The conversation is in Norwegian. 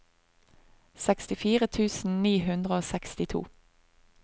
sekstifire tusen ni hundre og sekstito